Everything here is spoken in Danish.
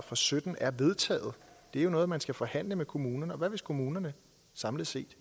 og sytten er vedtaget det er jo noget man skal forhandle med kommunerne om og hvad hvis kommunerne samlet set